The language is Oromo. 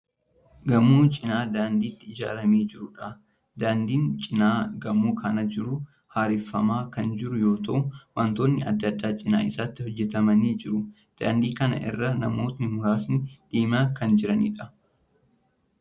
Gamoo cina daandiitti ijaaramaa jiruudha. Daandiin cina gamoo kanaa jiruu haareffamaa kan jiru yoo ta'u wantoonni adda addaa cina isaatti hojjetamanii jiru. Daandii kana irra namootni muraasni deemaa kan jiraniidha.